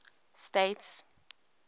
states